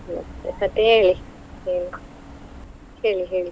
ಮತ್ತೆ ಹೇಳಿ ಏನು, ಹೇಳಿ ಹೇಳಿ?